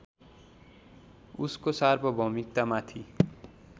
उसको सार्वभौमिकतामाथि